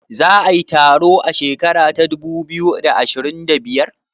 Za a yi taro a shekara ta dubu biyu da ashirin da biyar?